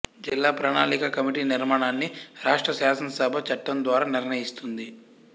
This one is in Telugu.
జిల్లా ప్రణాళిక కమిటీ నిర్మాణాన్ని రాష్ర్ట శాసనసభ చట్టం ద్వారా నిర్ణయిస్తుంది